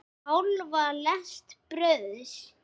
Hálfa lest brauðs.